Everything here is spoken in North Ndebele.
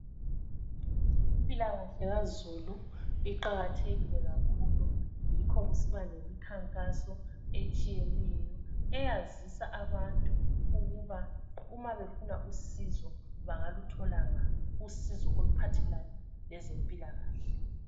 Impilakahle kazulu iqakathekile kakhulu yikho kusiba lemikhankaso etshiyeneyo eyazisa abantu ukuba uma befuna usizo bangaluthola nga usizo oluphathelane lezempilakahle